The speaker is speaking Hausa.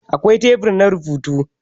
Akwai tebur na rubutu.